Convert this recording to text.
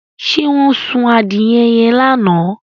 Ṣé wọ́n sun adìẹ yẹn lánàá?